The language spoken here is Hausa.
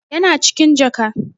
Yana cikin jaka.